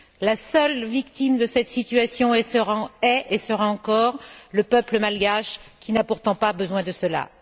La seule victime de cette situation est, et sera encore, le peuple malgache qui n'a pourtant pas besoin de cela.